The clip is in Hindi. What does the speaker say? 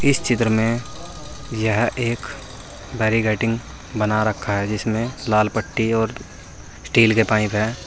इस चित्र में यह एक बैरीकेडिंग बना रखा है जिसमें लाल पट्टी और स्टील के पाइप है।